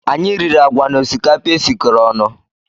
Anyị riri agwa na osikapa e sikọrọ ọnụ